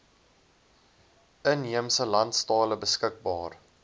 inheemse landstale beskikbaar